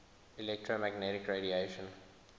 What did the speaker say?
electromagnetic radiation